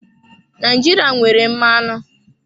Naijiria nwere mmanụ.